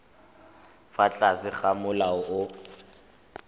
fa tlase ga molao o